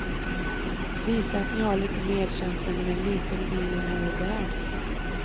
Visa att ni har lite medkänsla med en liten bil i en hård värld.